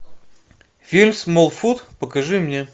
фильм смолфут покажи мне